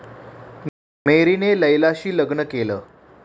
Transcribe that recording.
मेरीने लैलाशी लग्न केलं.